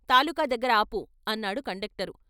తాలూకా దగ్గర ఆపు " అన్నాడు కండక్టరు.